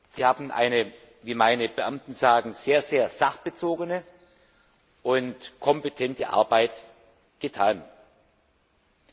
Sie haben wie meine Beamten sagen eine sehr sachbezogene und kompetente Arbeit geleistet.